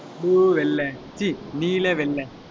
blue வெள்ளை ச்சீ நீல வெள்ளை